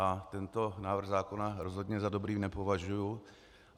A tento návrh zákona rozhodně za dobrý nepovažuji.